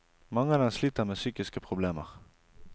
Mange av dem sliter med psykiske problemer.